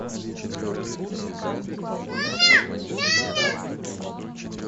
окей закажи мне корм для кошек адванс